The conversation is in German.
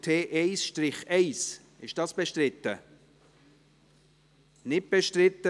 Da wurde so gut gearbeitet, dass Regierungsrat Neuhaus schon wieder nichts sagen will.